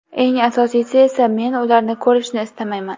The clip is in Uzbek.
Eng asosiysi esa, men ularni ko‘rishni istamayman!